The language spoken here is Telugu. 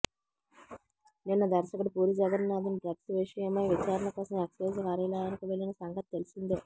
నిన్న దర్శకుడు పూరిజగన్నాథ్ ను డ్రగ్స్ విషయమై విచారణ కోసం ఎక్సైజ్ కార్యాలయానికి వెళ్ళిన సంగతి తెలిసిందే